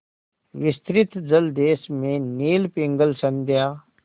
विस्तृत जलदेश में नील पिंगल संध्या